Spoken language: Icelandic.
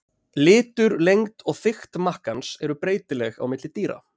Litur, lengd og þykkt makkans eru breytileg á milli dýra.